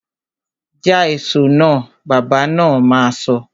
Ja èso náà! Bàbá na ma sọ